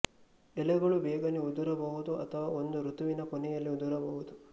ಎಲೆಗಳು ಬೇಗನೆ ಉದುರಬಹುದು ಅಥವಾ ಒಂದು ಋತುವಿನ ಕೊನೆಯಲ್ಲಿ ಉದುರಬಹುದು